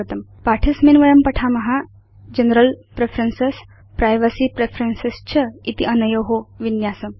अस्मिन् पाठे वयं पठाम जनरल प्रेफरेन्सेस् प्राइवेसी प्रेफरेन्सेस् च इति अनयो विन्यासम्